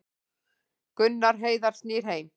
Gunnar Heiðar snýr heim